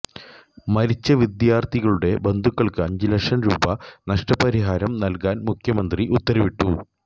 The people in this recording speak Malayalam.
മരിച്ച വിദ്യാർഥികളുടെ ബന്ധുക്കൾക്ക് അഞ്ച് ലക്ഷം രൂപ നഷ്ടപരിഹാരം നൽകാൻ മുഖ്യമന്ത്രി ഉത്തരവിട്ടു